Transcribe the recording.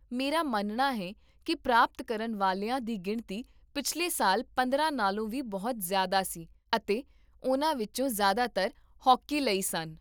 ਮੇਰਾ ਮੰਨਣਾ ਹੈ ਕੀ ਪ੍ਰਾਪਤ ਕਰਨ ਵਾਲਿਆਂ ਦੀ ਗਿਣਤੀ ਪਿਛਲੇ ਸਾਲ ਪੰਦਰਾਂ ਨਾਲੋਂ ਵੀ ਬਹੁਤ ਜ਼ਿਆਦਾ ਸੀ ਅਤੇ ਉਨ੍ਹਾਂ ਵਿੱਚੋਂ ਜ਼ਿਆਦਾਤਰ ਹਾਕੀ ਲਈ ਸਨ